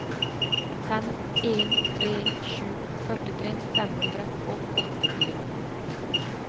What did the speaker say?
fem en tre sju førtitre fem hundre og åttifire